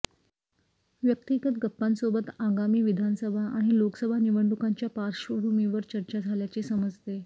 व्यक्तिगत गप्पांसोबत आगामी विधानसभा आणि लोकसभा निवडणुकांच्या पार्श्वभूमीवरही चर्चा झाल्याचे समजते